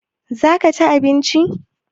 za ka ci abinci?